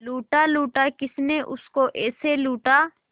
लूटा लूटा किसने उसको ऐसे लूटा